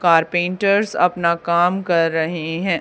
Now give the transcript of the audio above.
Carpenters अपना काम कर रहे हैं।